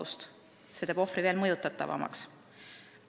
See on teinud ohvri veel mõjutatavamaks.